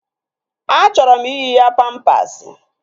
Achọrọ m iyi ya pampasi